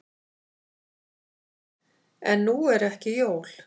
En nú eru ekki jól.